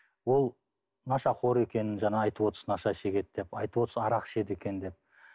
ол нашақор екенін жаңа айтып отырсыз наша шегеді деп айтып отырсыз арақ ішеді екен деп